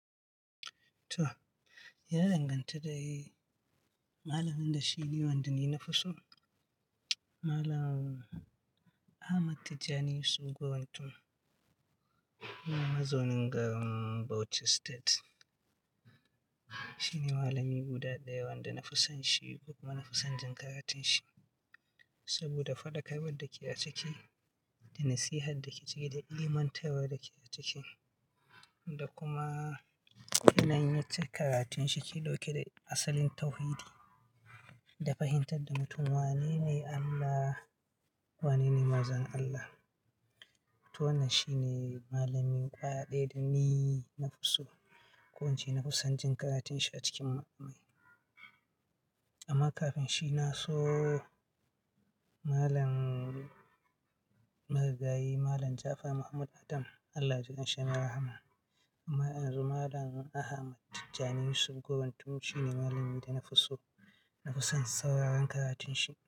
Toh, ya danganta dai mallamin da shi ne wanda ni na fi so. Mallam Ahmad Tijjani Yusuf Gwantun, yana mazaunin garin Bauchi State. Shi ne mallami guda ɗaya wanda na fi son shi kuma na fi son jin karatun shi saboda faɗakarwar da ke a ciki da nasiha da ke ciki da ilimantarwa da ke a ciki da kuma yanayin karatun shi ke ɗauke da asalin tauhidi da fahimtar da mutum wanene Allah, wanene mazan Allah. To wannan shi ne mallamin ƙwaɗai da ni na fi so. Ko ince na fi son jin karatun shi a cikin malamai. Amma kafin shi na so malam maragayi, Malam Ja'afar Muhammadu Adam. Allah jikan shi yayi rahama. Amma a yanzu Malam Ahmad Tijjani Yusuf Gwantun shi ne malamin da na fi so. Na fi son sauraron karatun shi.